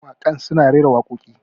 mawakan suna rera wakoki